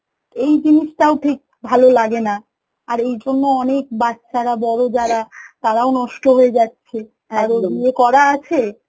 এই জিনিসটাও ঠিক ভালো লাগেনা, আর এই জন্য অনেক বাচ্চারা বড় যারা তারাও নষ্ট হয়ে যাচ্ছে করা আছে